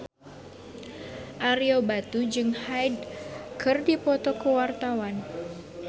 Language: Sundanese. Ario Batu jeung Hyde keur dipoto ku wartawan